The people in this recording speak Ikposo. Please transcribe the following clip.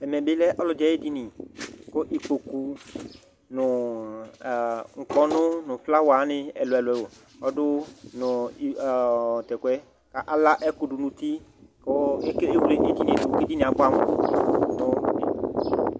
Ɛmɛ bi lɛ ɔlɔdi ayu edini ku ikpoku nu ukpɔnu nu flawa wani nu ɛlu ɛlu ala ɛku du nu uti ku ewle edinie du ku abuɛ amu